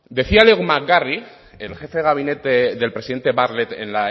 decía leo mcgarry el jefe de gabinete del presidente bartlet en